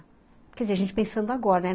Quer dizer, a gente pensando agora, né?